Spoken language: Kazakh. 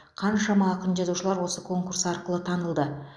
қаншама ақын жазушылар осы конкурс арқылы танылды